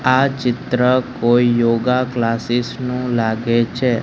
આ ચિત્ર કોઈ યોગા ક્લાસિસ નુ લાગે છે.